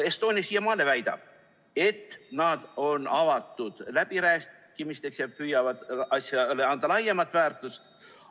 Estonia siiamaani väidab, et nad on avatud läbirääkimisteks ja püüavad asjale anda laiemat väärtust.